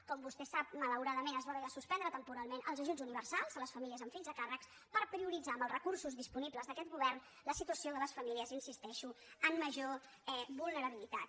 com vostè sap malauradament es van haver de suspendre temporalment els ajuts universals a les famílies amb fills a càrrec per prioritzar amb els recursos disponibles d’aquest govern la situació de les famílies hi insisteixo amb major vulnerabilitat